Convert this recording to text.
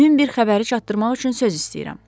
Mühüm bir xəbəri çatdırmaq üçün söz istəyirəm.